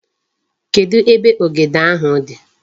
Kedu ebe ogede ahu di?